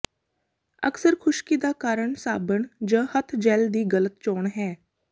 ਅਕਸਰ ਖੁਸ਼ਕੀ ਦਾ ਕਾਰਨ ਸਾਬਣ ਜ ਹੱਥ ਜੈਲ ਦੀ ਗਲਤ ਚੋਣ ਹੈ